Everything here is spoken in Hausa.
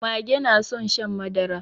Mage na son shan madara.